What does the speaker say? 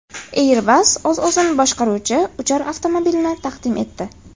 Airbus o‘z-o‘zini boshqaruvchi uchar avtomobilni taqdim etdi .